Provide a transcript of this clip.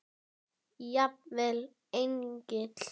Jafnvel engin.